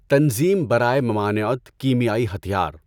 تنظیم برائے ممانعت کیمیائی ہتھیار